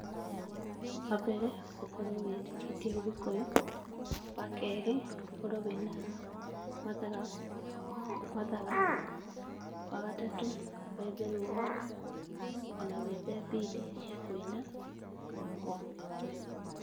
Wa mbere, ũkorwo wĩtĩkĩtie ũgĩkũyũ, wa kerĩ, ũkorwo wĩna mathaga, mathaga, wa gatatũ, wethe rũa, o na wethe bidi cia kũina, ũkorwo mũgĩkũyũ